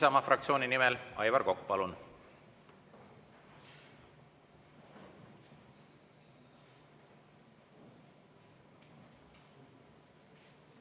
Isamaa fraktsiooni nimel Aivar Kokk, palun!